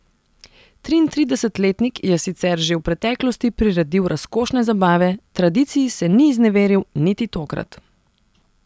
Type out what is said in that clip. Triintridesetletnik je sicer že v preteklosti priredil razkošne zabave, tradiciji se ni izneveril niti tokrat.